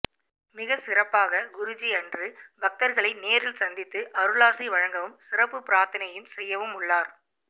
மிக சிறப்பாக குருஜி அன்று பக்தர்களை நேரில் சந்தித்து அருளாசி வழங்கவும் சிறப்பு பிராத்தனையும் செய்யவும் உள்ளார்